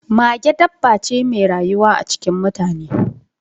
Mage dabba ce mai rayuwa cikin mutane